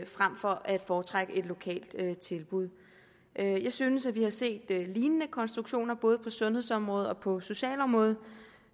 frem for at foretrække et lokalt tilbud jeg synes at vi har set lignende konstruktioner både på sundhedsområdet og på socialområdet